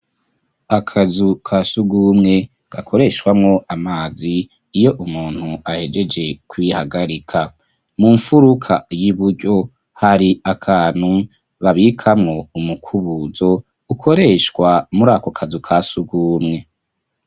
Akazu ka sugumwe gakoreshwamwo amazi iyo umuntu ahejeje kwihagarika mu mfuruka y'iburyo ,hari akantu babikamwo umukubuzo ukoreshwa muri ako kazu kasugumwe.